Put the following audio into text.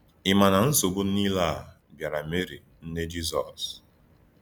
Ị̀ ma na nsòbù niile à bìàrà Mèrì, nné Jízọs?